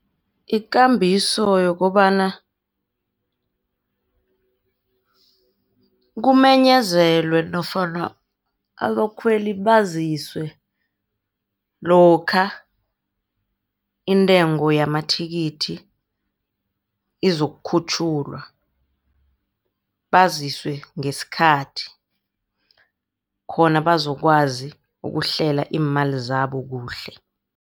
Ikambiso yokobana kumenyezelwe nofana abakhweli baziswe lokha intengo yamathikithi izokukhutjhulwa. Baziswe ngesikhathi khona bazokwazi ukuhlela iimali zabo kuhle.